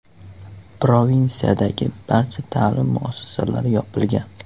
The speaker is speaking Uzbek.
Provinsiyadagi barcha ta’lim muassasalari yopilgan.